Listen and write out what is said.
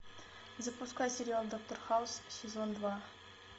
запускай сериал доктор хаус сезон два